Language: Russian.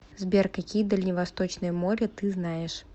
сбер какие дальневосточное море ты знаешь